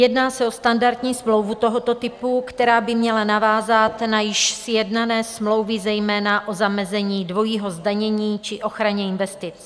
Jedná se o standardní smlouvu tohoto typu, která by měla navázat na již sjednané smlouvy, zejména o zamezení dvojího zdanění či ochraně investic.